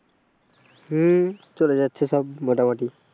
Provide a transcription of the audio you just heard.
হম চলে যাচ্ছে সব মোটামুটি।